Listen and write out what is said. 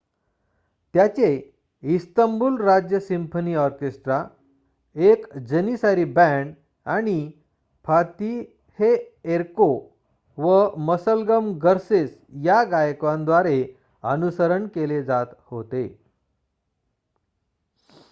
त्याचे इस्तंबूल राज्य symphony orchestra एक जनिसारी बँड आणि फातिहएर्को व मसलम गर्सेस या गायकांद्वारे अनुसरण केले जात होते